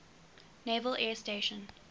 naval air station